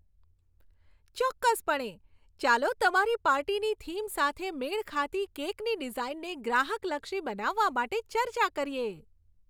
ચોક્કસપણે! ચાલો તમારી પાર્ટીની થીમ સાથે મેળ ખાતી કેકની ડિઝાઇનને ગ્રાહકલક્ષી બનાવવા માટે ચર્ચા કરીએ.